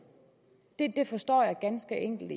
det forstår jeg ganske enkelt